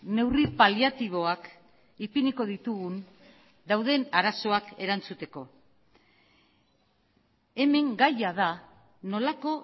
neurri paliatiboak ipiniko ditugun dauden arazoak erantzuteko hemen gaia da nolako